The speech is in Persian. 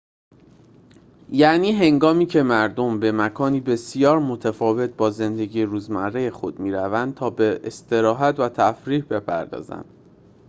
یعنی هنگامی‌که مردم به مکانی بسیار متفاوت با زندگی روزمره خود می‌روند تا به استراحت و تفریح بپردازند